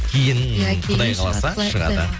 кейін құдай қаласа шығады